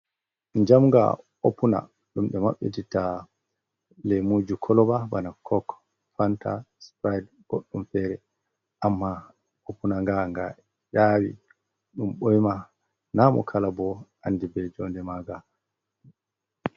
Njamga opuna ɗum ɓe maɓɓititta leemuji koloba bana kok, fanta sprait, goɗɗum fere. Amma opuna nga, nga ƴaawi, ɗum ɓoima. Na mo kala bo andi be jonde manga.